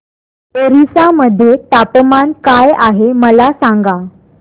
ओरिसा मध्ये तापमान काय आहे मला सांगा